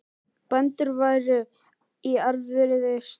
Bændur væru í erfiðri stöðu